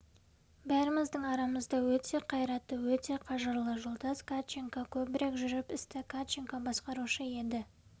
бәріміздің арамызда өте қайратты өте қажырлы жолдас катченко көбірек жүріп істі катченко басқарушы еді